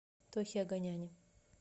тохе оганяне